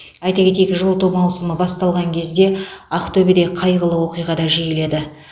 айта кетейік жылыту маусымы басталған кезде ақтөбеде қайғылы оқиға да жиіледі